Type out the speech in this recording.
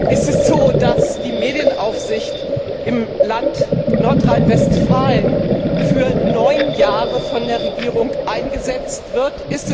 Ist es so, dass die Medienaufsicht im Land Nordrhein Westfalen für neun Jahre von der Regierung eingesetzt wird?